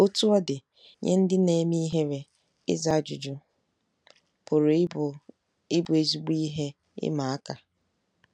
Otú ọ dị, nye ndị na-eme ihere, ịza ajụjụ pụrụ ịbụ ịbụ ezigbo ihe ịma aka.